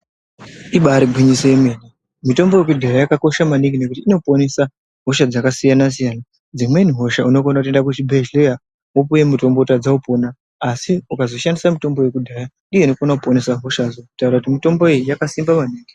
Ibari gwinyiso remene mitombo yekudhaya yakakosha maningi ngekuti inoporesa hosha dzakasiyana siyana dzimweni hosha unokona kuenda kuzvibhedhlera vopuwa mutombo votadza kupona asi ukazozhandisa mutombo wekudhaya ndiyo inofana kuporesa hosha kutaura kuti mitomboyo yakasimba maningi.